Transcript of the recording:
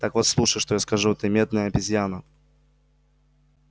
так вот слушай что я скажу ты медная обезьяна